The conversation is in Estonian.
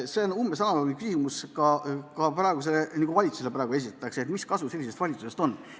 See on analoogne küsimus, mida ka praegusele valitsusele esitatakse, et mis kasu sellisest valitsusest on.